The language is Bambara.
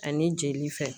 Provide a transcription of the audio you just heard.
Ani jeli fɛn